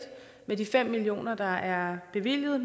med de fem million kr der er bevilget